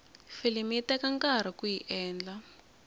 filimi yi teka nkarhi kuyi endla